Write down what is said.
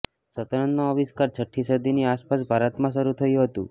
શતરંજનો આવિષ્કાર છઠી સદી ની આસપાસ ભારતમાં શરુ થયું હતું